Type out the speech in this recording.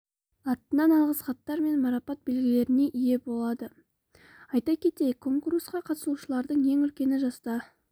атынан алғыс хаттар мен марапат белгілеріне ие болады айта кетейік конкурсқа қатысушылардың ең үлкені жаста